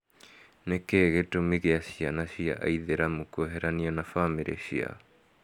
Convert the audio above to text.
Nĩkĩĩ gĩtũma kia ciana cia aithĩramu kweheranio na famĩrĩ ciao?